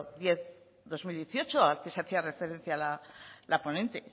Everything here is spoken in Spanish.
diez barra dos mil dieciocho al que se hacía referencia la ponente